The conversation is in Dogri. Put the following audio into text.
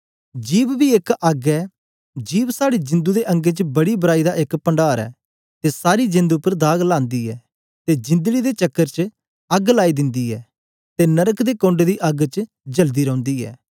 जिभ बी एक अग्ग ऐ जिभ साड़ी जिंदु दे अंगें च बड़ी बराई दा एक पणडार ऐ ते सारी जेंद उपर दाग लांदी ऐ ते जिंदड़ी दे चकर च अग्ग लाइ दिन्दी ऐ ते नरक दे कोण्ड दी अग्ग च जलदी रौंदी ऐ